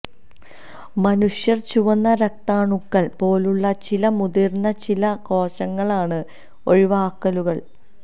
മനുഷ്യർ ചുവന്ന രക്താണുക്കൾ പോലുള്ള ചില മുതിർന്ന ചില കോശങ്ങളാണ് ഒഴിവാക്കലുകൾ